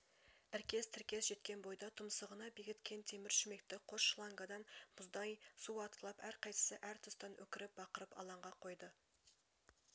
іркес-тіркес жеткен бойда тұмсығына бекіткен темір шүмекті қос шлангадан мұздай су атқылап әрқайсысы әр тұстан өкіріп-бақырып алаңға қойды